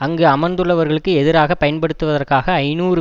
அங்கு அமர்ந்துள்ளவர்களுக்கு எதிராக பயன்படுத்துவதற்காக ஐநூறு